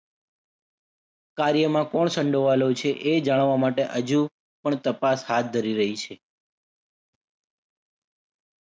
કાર્યમાં કોણ સંડોવાયેલું છે એ જાણવા માટે હજુ પણ તપાસ હાથ ધરી રહી છે.